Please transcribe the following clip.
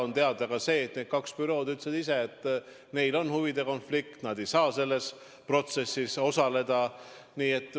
On teada ka see, et need kaks bürood ütlesid ise, et neil on huvide konflikt, nad ei saa selles protsessis osaleda.